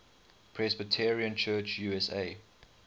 presbyterian church usa